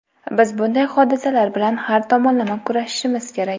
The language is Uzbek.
biz bunday hodisalar bilan har tomonlama kurashishimiz kerak.